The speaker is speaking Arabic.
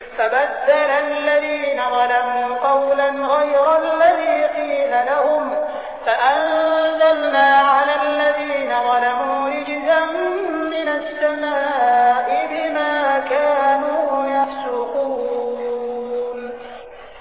فَبَدَّلَ الَّذِينَ ظَلَمُوا قَوْلًا غَيْرَ الَّذِي قِيلَ لَهُمْ فَأَنزَلْنَا عَلَى الَّذِينَ ظَلَمُوا رِجْزًا مِّنَ السَّمَاءِ بِمَا كَانُوا يَفْسُقُونَ